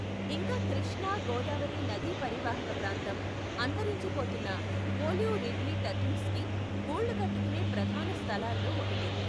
ఇంకా కృష్ణా గోదావరి నదీ పరీవాహక ప్రాంతం, అంతరించిపోతున్న ఓలివ్ రిడ్లీ టర్టిల్స్కి గూళ్ళు కట్టుకునే ప్రధాన స్థలాలలో ఒకటి.